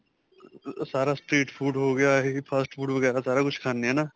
ਅਅ ਸਾਰਾ street food ਹੋ ਗਿਆ ਇਹ fast food ਵਗੈਰਾ ਸਾਰਾ ਕੁੱਝ ਖਾਨੇ ਹੈ ਨਾ?